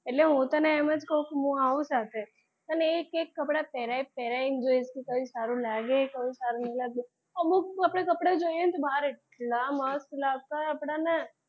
એટલે હું તને એમ જ કહું કે હું આવું સાથે અને એક એક કપડા પહેરાય પહેરાય ને જોઈશું કયું સારું લાગે કયું સારું નહીં લાગે અમુક આપડે કપડાં જોઈએ તો બહાર એટલાં મસ્ત લાગતાં હોય આપડાને,